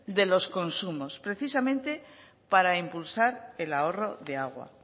de los consumos precisamente para impulsar el ahorro de agua